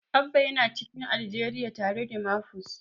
Abba yana cikin Aljeriya tare da Mafus.